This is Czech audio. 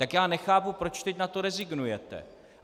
Tak já nechápu, proč teď na to rezignujete.